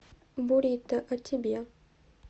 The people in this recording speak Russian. бурито о тебе